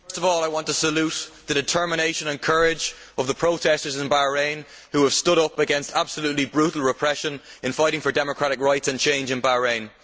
Mr President, first of all I want to salute the determination and courage of the protestors in Bahrain, who have stood up against absolutely brutal repression in fighting for democratic rights and change in Bahrain.